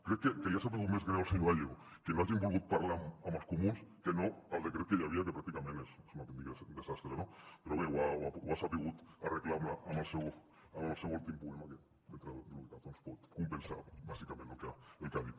crec que li ha sabut més greu al senyor gallego que no hagin volgut parlar amb els comuns que no el decret que hi havia que pràcticament és un autèntic desastre no però bé ho ha sabut arreglar amb el seu últim poema que dintre del que cap pot compensar bàsicament el que ha dit